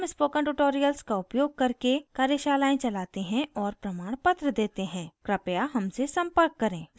हम spoken tutorials का उपयोग करके कार्यशालाएं चलाते हैं और प्रमाणपत्र देते हैं कृपया हमसे संपर्क करें